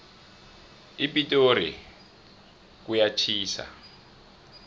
epitori kuyatjhisa